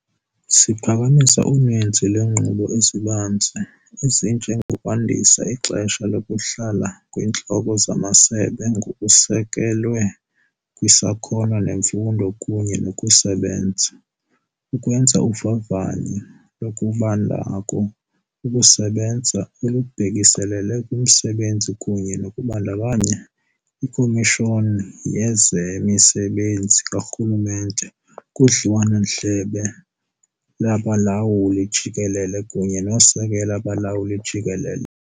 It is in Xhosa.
Siphakamisa uninzi lweenguqu ezibanzi, ezinje ngokwandisa ixesha lokuhl la kweeNtloko zamaSebe ngokusekelwe kwisakhono nemfundo kunye nokusebenza, ukwenza uvavanyo lokubanako ukusebenza olubhekiselele kumsebenzi kunye nokubandakanya iKomishoni yezeMisebenzi kaRhulumente kudliwano-ndlebe lwaBalawuli-Jikelele kunye noSekela Balawuli-Jikelele.